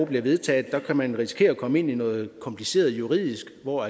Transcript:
bliver vedtaget kan man risikere at komme ind i noget kompliceret juridisk hvor